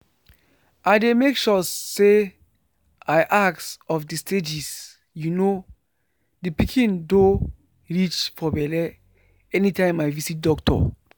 i dey make sure say i ask of the stages you know the pikin doh reach for belle anytime i visit doctor.